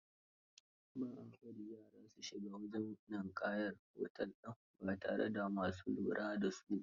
Ba a bari yara su shiga wajen ninƙayar otel din ba tare da ma su lura da su ba